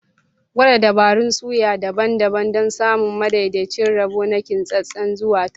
Gwada dabarun soya daban-daban don samun madaidaicin rabo na kintsattse zuwa taushi.